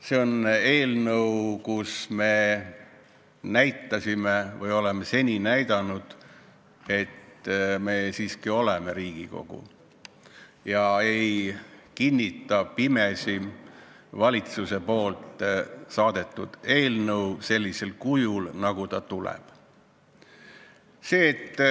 See on eelnõu, mille puhul me oleme näidanud, et me siiski oleme Riigikogu ega kinnita pimesi valitsuse saadetud eelnõu sellisel kujul, nagu ta meie kätte tuleb.